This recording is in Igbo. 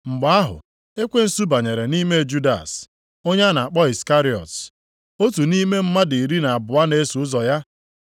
Mgbe ahụ, ekwensu banyere nʼime Judas, onye a na-akpọ Iskarịọt, otu nʼime mmadụ iri na abụọ na-eso ụzọ ya.